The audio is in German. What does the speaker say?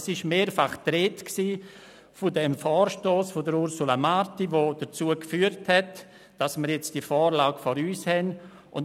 Es war mehrfach die Rede vom Vorstoss von Ursula Marti, der dazu geführt hat, dass wir die Vorlage nun vor uns haben.